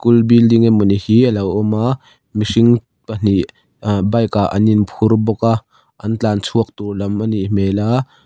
school building emawni hi a lo awm a mihring pahnih ahh bike ah an inphur bawk a an tlan chhuak tur lam a nih hmel a.